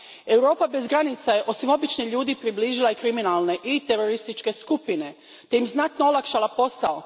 Europa bez granica je osim običnih ljudi približila i kriminalne i terorističke skupine te im znatno olakšala posao.